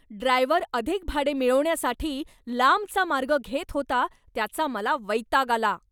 Driver अधिक भाडे मिळवण्यासाठी लांबचा मार्ग घेत होता त्याचा मला वैताग आला.